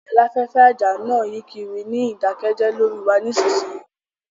Aláfẹ́fẹ́ àjà náà yí kiri ní ìdákẹ́jẹ́ lórí wa nísinsìnyí